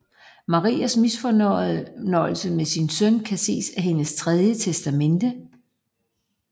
Marias misfornøjelse med sin søn kan ses af hendes tredje testamente